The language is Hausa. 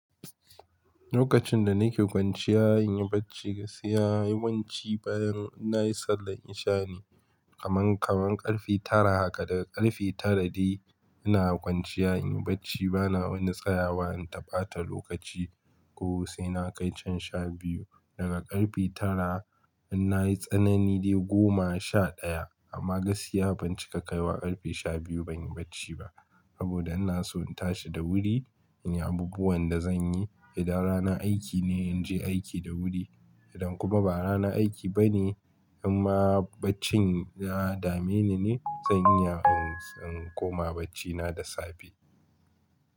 Lokacin da nake kwanciya in yi bacci, gaskiya yawanci bayan nayi sallar isha ne kaman kaman karfe tara. Haka daga karfe tara dai ina kwanciya in yi bacci bana wani tsayawa in ta ɓata lokaci ko sai na kai can sha biyu. Daga karfe tara in nayi tsanani dai goma sha daya amma gaskiya ban cika kai wa karfe sha biyu ban yi bacci ba. Saboda ina so in tashi da wuri in yi abubuwan da zan yi. Idan rana aiki ne in je aiki da wuri idan kuma ba rana aiki bane amma baccin ya dame ni ne zan iya in komawa bacci na da safe.